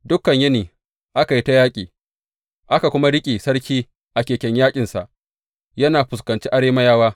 Dukan yini aka yi ta yaƙi, aka kuma riƙe sarki a keken yaƙinsa yana fuskanci Arameyawa.